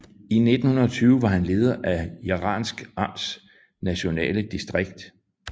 I 1920 var han leder af Jaransk amts nationale distrikt